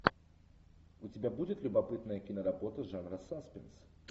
у тебя будет любопытная киноработа жанра саспенс